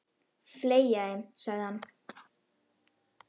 Fleygja þeim, sagði hann.